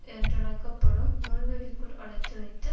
என்றழைக்க படும் முள்வேலிக்குள் அடைத்து வைத்து